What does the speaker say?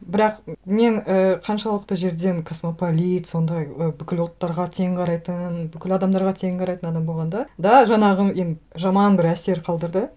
бірақ мен ііі қаншалықты жерден космополит сондай ы бүкіл ұлттарға тең қарайтын бүкіл адамдарға тең қарайтын адам болғанда да жаңағы енді жаман бір әсер қалдырды